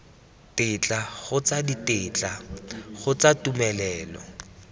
tetla kgotsa ditetla kgotsa tumelelo